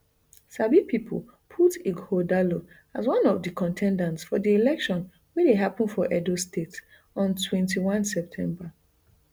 sabi pipo put ighodalo as one of di con ten ders for di election wey dey happun for edo state on twenty-one september